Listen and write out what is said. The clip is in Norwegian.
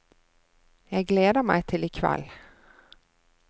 Jeg gleder meg til i kveld.